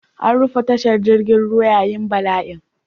An rufe tashar jirgin ruwa yayin bala'in.